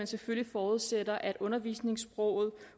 selvfølgelig forudsættes at undervisningssproget